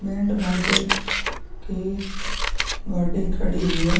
Band बाजे के गाड़ी खड़ी हुयी है।